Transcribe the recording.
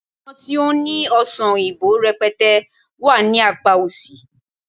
àwọn ti o ni ọsán oyinbo rẹpẹtẹ wà ní apá òsì